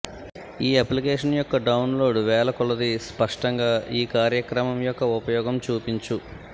ఈ అప్లికేషన్ యొక్క డౌన్లోడ్ వేల కొలదీ స్పష్టంగా ఈ కార్యక్రమం యొక్క ఉపయోగం చూపించు